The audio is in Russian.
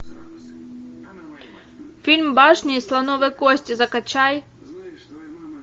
фильм башня из слоновой кости закачай